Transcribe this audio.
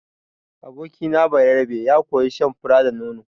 Abokina Bayerabe ya koyi shan fura da nono.